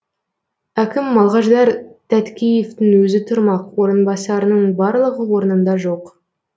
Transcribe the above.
әкім малғаждар тәткеевтың өзі тұрмақ орынбасарының барлығы орнында жоқ